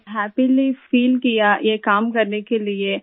میں بہت خوشی محسوس کرتی ہوں کام کرنے کے لئے